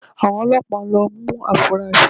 Àwọn Ọlọ́pàá ń lọ mú afurasí